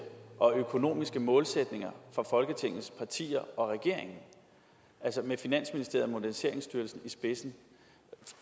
og økonomiske målsætninger fra folketingets partier og regeringen altså med finansministeriet og moderniseringsstyrelsen i spidsen